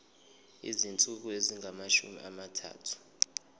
izinsuku ezingamashumi amathathu